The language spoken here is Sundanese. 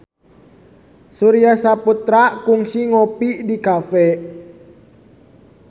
Surya Saputra kungsi ngopi di cafe